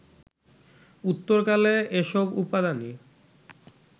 উত্তরকালে এসব উপাদানই